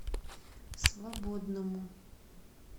свободному